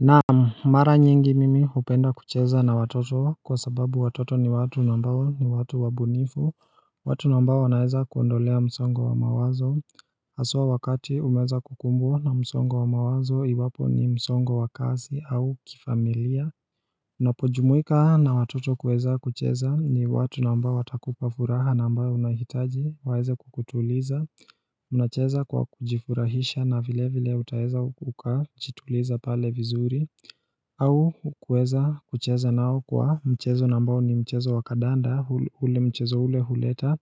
Naam, mara nyingi mimi hupenda kucheza na watoto kwa sababu watoto ni watu na ambao ni watu wabunifu, watu na ambao naeza kuondolea msongo wa mawazo, haswa wakati umeweza kukumbwa na msongo wa mawazo iwapo ni msongo wa kazi au kifamilia Unapojumuika na watoto kueza kucheza ni watu na ambao watakupa furaha na ambao unahitaji waweze kukutuliza Unacheza kwa kujifurahisha na vile vile utaweza uka jituliza pale vizuri au kueza kucheza nao kwa mchezo na ambao ni mchezo wakandanda ule mchezo ule huleta